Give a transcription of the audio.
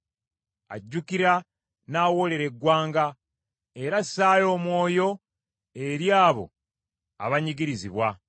Ajjukira n’awoolera eggwanga era assaayo omwoyo eri abo abanyigirizibwa.